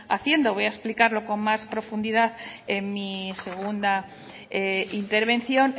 haciendo voy a explicarlo con más profundidad en mi segunda intervención